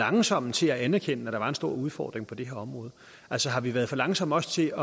langsomme til at anerkende at der var en stor udfordring på det her område altså har vi været for langsomme også til